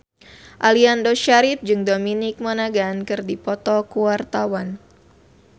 Aliando Syarif jeung Dominic Monaghan keur dipoto ku wartawan